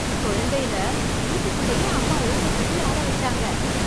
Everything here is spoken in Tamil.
குழந்தைல வீட்டுக்குள்ளயே அம்மா ஊஞ்சல் கட்டி ஆட வெச்சாங்க